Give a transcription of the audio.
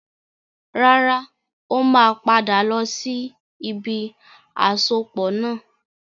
Rárá, ó máa padà lọ sí ibi àsopọ̀ náà.